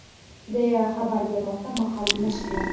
deya xabar bermoqda mahalliy nashrlar.